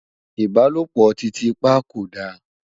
ìbálòpọ̀ titi pa kò dá